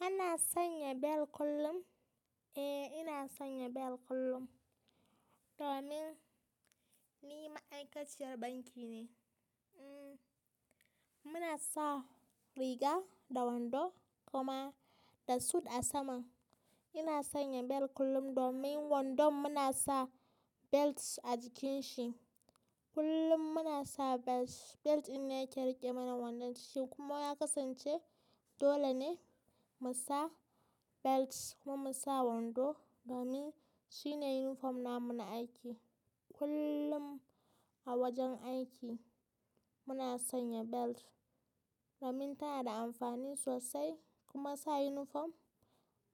Ana sanya bel kullum? Eh, ina sanya bel kullum, domin ni ma'aikaciyar banki ne. Muna sa riga da wando kuma da suit a saman. Ina sanya bel kullum domin wandon muna sa belts a jikin shi. Kullum muna sa belts. Belt ina yake riƙe mana wandon tishin kuma ya kasance dole ne mu sa belts kuma mu sa wando, domin shi ne yunifom namu na aiki. Kullum a wajen aiki muna sanya belt domin tana da amfani sosai kuma sa yunifom